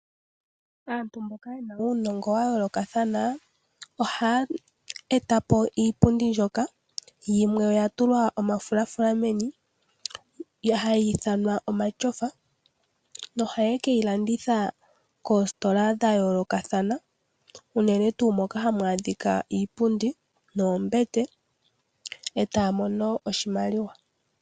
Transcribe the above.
Aantu mboka ye na uunongo wa yoolokathana ohaya e ta po iipundi mbyoka yimwe oya tulwa omafulafula meni, hayi ithanwa omatyofa. Ohaye ke yi landitha koositola dha yoolokathana, unene tuu moka hamu adhika iipundi noombete, e taya mono oshimaliwa.